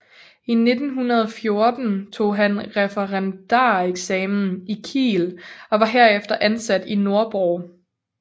I 1914 tog han referendareksamen i Kiel og var herefter ansat i Nordborg